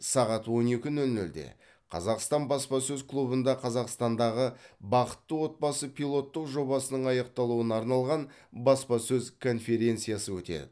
сағат он екі нөл нөлде қазақстан баспасөз клубында қазақстандағы бақытты отбасы пилоттық жобасының аяқталуына арналған баспасөз конференциясы өтеді